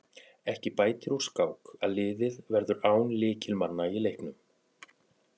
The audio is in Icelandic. Ekki bætir úr skák að liðið verður án lykilmanna í leiknum.